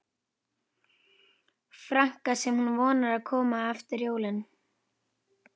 franka sem hún vonar að komi fyrir jólin.